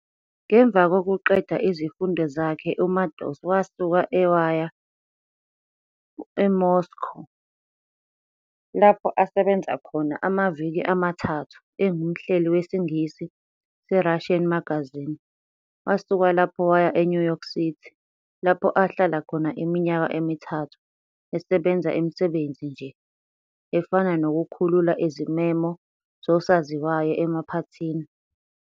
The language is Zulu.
Ngemva kukoqeda izifundo zakhe uMaddox wasuka e- waya eMoscow-lapho asebenza khona amaviki amathathu engumhleli wesingisi se Russian magazine-wasuka lapho waya eNew York City, lapho ahlala khona iminyaka emithathu esebenza imisebenzi nje, efana nokukhulula izimemo zosaziwayo emaphathini.